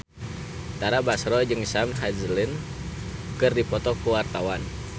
Tara Basro jeung Sam Hazeldine keur dipoto ku wartawan